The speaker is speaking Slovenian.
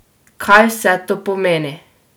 Kaj vse to pomeni?